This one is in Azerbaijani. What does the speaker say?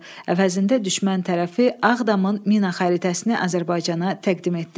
Əvəzində düşmən tərəfi Ağdamın mina xəritəsini Azərbaycana təqdim etdi.